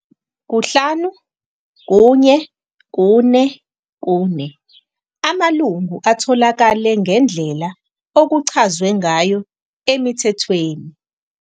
5.1.4.4 Amalungu atholakale ngendlela okuchazwe ngayo eMithethweni.